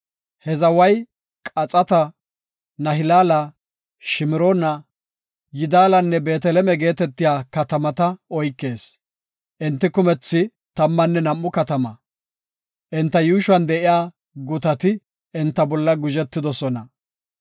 He zaway Qaxata, Nahilaala, Shimroona, Yidaalanne Beeteleme geetetiya katamata oykees. Enti kumethi tammanne nam7u katama; enta yuushuwan de7iya gutati enta bolla guzhetoosona.